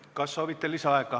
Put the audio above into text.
Kas soovite lisaaega?